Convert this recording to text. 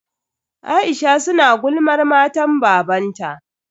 Aisha su na gulmar matan babanta.